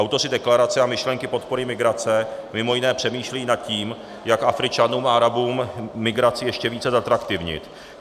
Autoři deklarace a myšlenky podpory migrace mimo jiné přemýšlejí nad tím, jak Afričanům a Arabům migraci ještě více zatraktivnit.